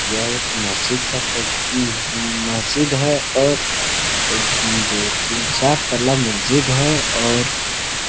यह एक महजिद का फ़ो उम्म उम्म महजिद है और एक दो तीन चार तला महजिद है और-- ।